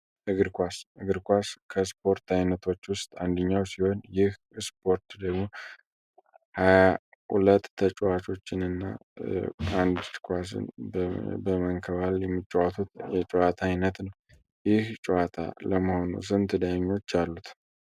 እግር ኳስ እግር ኳስ ከስፖርት አይነቶች ውስጥ አንደኛው ሲሆን ይህ እስፖርት ደቡብ 2 ተጫዋቾችንና በመከባል የምትጫወቱ የጨዋታ አይነት ይህ ጨዋታ ለመሆኑ ስንት ዳኞች አሉት